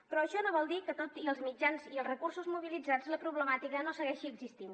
però això no vol dir que tot i els mitjans i els recursos mobilitzats la problemàtica no segueixi existint